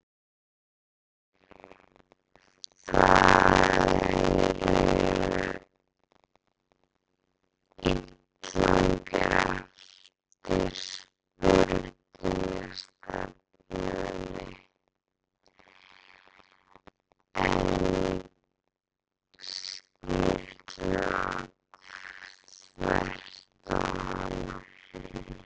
Þeir eru ílangir eftir sprungustefnunni en strýtulaga þvert á hana.